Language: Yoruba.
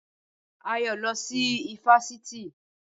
Ayọ̀ lọ sí ifásitì